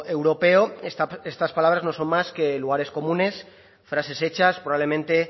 europeo estas palabras no son más que lugares comunes frases hechas probablemente